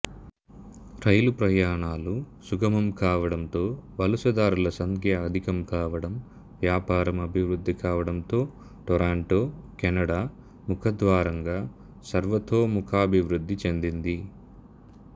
రైలు ప్రయాణాలు సుగమంకావడంతో వలసదారుల సంఖ్య అధికం కావడం వ్యాపారం అభివృద్ధి కావడంతో టొరంటొ కెనడా ముఖద్వారంగా సర్వతోముఖాభివృద్ధి చెందింది